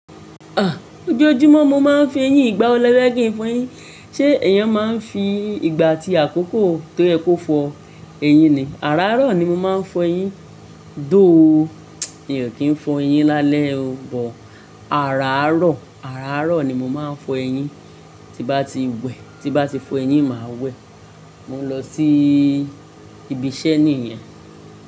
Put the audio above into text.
À, ojú ojúmọ́ mo máa ń fo eyín ìgbà wo lẹ́fẹ́ kí ń fọ eyín? Ṣé ẹ̀yàn máa ń fi ìgbà àti àkókò tó yẹ kó fọ eyín ni? Àárarọ̀ ni mo máa ń fọ eyín. Though, mi ò kí ń fọ eyín lálẹ́ o, bọ̀. Àárọ̀, àárọ̀ ni mo máa ń fọ eyín. Ti bá ti wẹ̀, ti bá ti fọ eyín máa wẹ̀. Mo ń lọ sí ibi iṣẹ́ níyẹn.